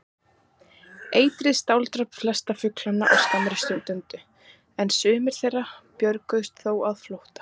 Eitrið strádrap flesta fuglana á skammri stund, en sumir þeirra björguðust þó á flótta.